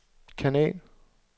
kanal